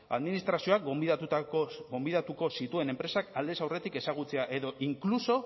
administrazioak gonbidatuko zituen enpresak aldez aurretik ezagutzea edo inkluso